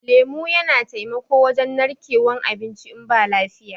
lemu Yana taimako wajen narkewan abinci in ba lafiya.